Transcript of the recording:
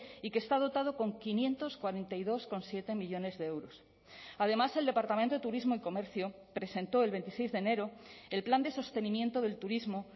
y que está dotado con quinientos cuarenta y dos coma siete millónes de euros además el departamento de turismo y comercio presentó el veintiséis de enero el plan de sostenimiento del turismo